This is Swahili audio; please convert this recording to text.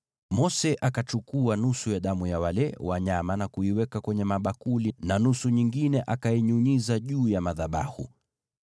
Mose akachukua nusu ya damu ya wale wanyama na kuiweka kwenye mabakuli na nusu nyingine akainyunyiza juu ya madhabahu.